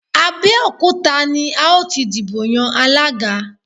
Abẹ́òkúta ni a ó ti dìbò yan Alága